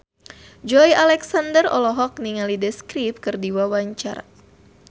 Joey Alexander olohok ningali The Script keur diwawancara